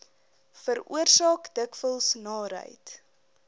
veroorsaak dikwels naarheid